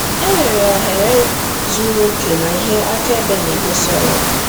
Enwere oghere zuru oke na ihe akaebe na-egosi ọrụ.